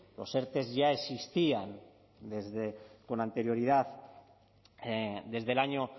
los erte ya existían con anterioridad desde el año